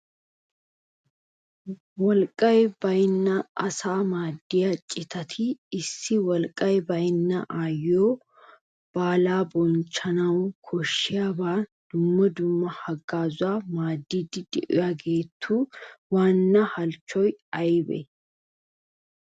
Wolqqay baynna asaa maaddiya cittati issi wolqqay baynna aayyiyo baala bonchchanaw koshshiyaban dumma dumma haggazzuwan maadiidi de'iyaageetu waana halchchoy aybbe?